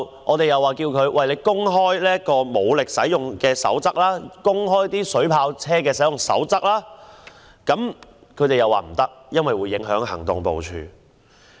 我們因而要求警方公開使用武力和水炮車的守則，但警方拒絕，說會影響行動部署。